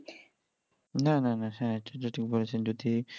না না না হ্যাঁ এটা ঠিক বলেছেন যদি